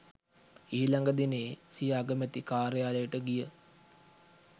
ඊළග දිනයේ සිය අගමැති කාර්යාලයට ගිය